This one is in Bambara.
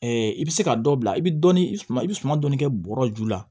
i bɛ se ka dɔ bila i bɛ dɔɔnin suman i bɛ suman dɔɔni kɛ bɔrɔ ju la